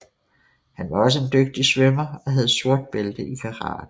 Han var også en dygtig svømmer og havde sort bælte i karate